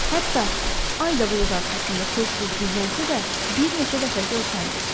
Hətta Ay da bulud arxasında tez-tez gizlənsə də, bir neçə dəfə görsəndi.